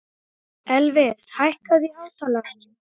Elvis, hækkaðu í hátalaranum.